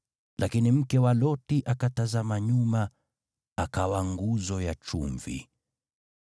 Lakini mke wa Loti akatazama nyuma, hivyo akawa nguzo ya chumvi.